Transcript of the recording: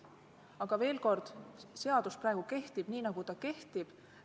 Aga veel kord: seadus kehtib praegu nii, nagu ta kehtib.